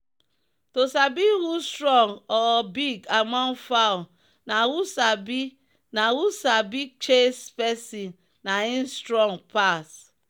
to sabi who strong or big among fowl na who sabi na who sabi chase person na him strong pass.